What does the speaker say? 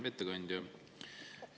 Hea ettekandja!